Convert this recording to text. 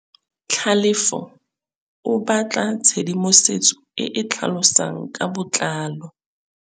Tlhalefô o batla tshedimosetsô e e tlhalosang ka botlalô.